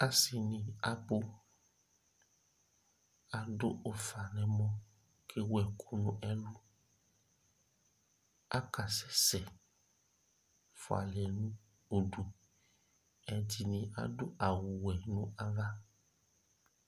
Asi ni akɔ adu ʋfa nʋ ɛmɔ kʋ ewu ɛku nʋ ɛlu Akasɛsɛ fʋalɛ nʋ ʋdu Ɛdiní adu awu wɛ nʋ ava